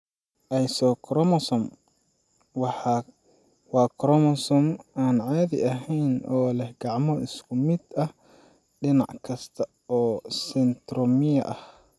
isochromosome waa koromosoom aan caadi ahayn oo leh gacmo isku mid ah dhinac kasta oo centromere ah.